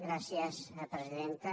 gràcies presidenta